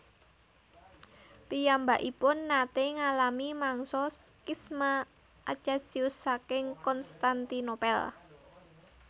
Piyambakipun naté ngalami mangsa skisma Acasius saking Konstantinopel